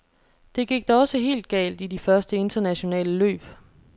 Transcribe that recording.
Det gik da også helt galt i de første internationale løb.